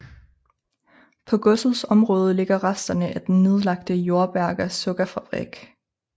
På godsets område ligger resterne af den nedlagte Jordberga sukkerfrabrik